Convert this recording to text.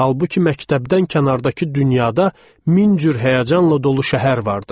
Halbuki məktəbdən kənardakı dünyada min cür həyəcanla dolu şəhər vardı.